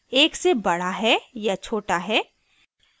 * एक से बड़ा है या छोटा है